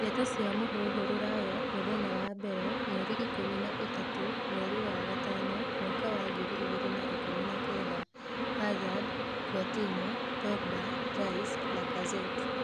Ndeto cia mūhuhu Ruraya Mũthenya wa mbere, mweri ikũmi na ĩtatũ mweri wa gatano mwaka wa ngiri igĩrĩ na ikũmi na kenda: Hazard, Coutinho, Pogba, Rice, Lacazette